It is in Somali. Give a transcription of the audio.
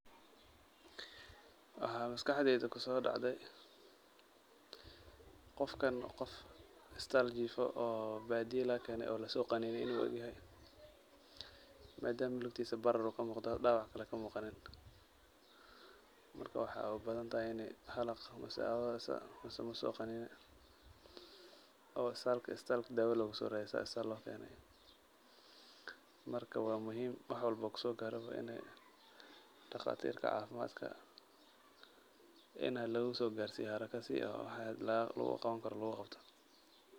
Waxaa maskaxdeyda kusoo dhacday, qofkan qof isbitaal jiifo oo baadiya laga keenay oo la soo qaniinay uu u egyahay. Maadaama lugtiisa barar uu ka muuqdo dhaawac kale ka muuqanin. Marka, waxaa u badan tahay inay xalaq mise abeeso mise mas soo qaniinay oo isbitaalka isbitaalka daawo lugusooradsiyey loo keenay. Marka, waa muhiim wax walbo kusoogaaraba inay dhakhaatiirta caafimaadka ina lagasoogaarsiiyo haraka si oo wax loogu qaban karo loogu qabto.